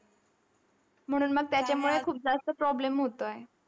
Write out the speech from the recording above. म्हणून मग त्याच्यामुळे खूप जास्त problem होतोय.